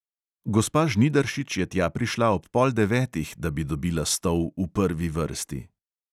Gospa žnidaršič je tja prišla ob pol devetih, da bi dobila stol v prvi vrsti.